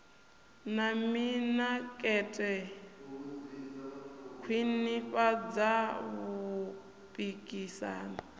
na mimakete u khwinifhadza vhupikisani